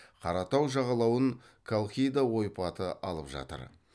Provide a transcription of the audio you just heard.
қара тау жағалауын колхида ойпаты алып жатыр